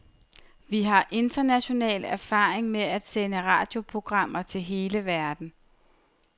Vi har international erfaring med at sende radioprogrammer til hele verden.